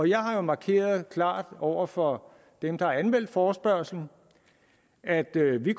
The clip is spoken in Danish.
jeg har jo markeret klart over for dem der har anmeldt forespørgslen at vi